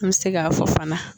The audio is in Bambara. An bɛ se k'a fɔ fana